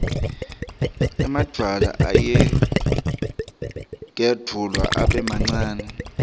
emadvwala ayagedvuka abe mancane